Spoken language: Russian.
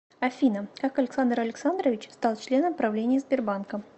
афина как александр александрович стал членом правления сбербанка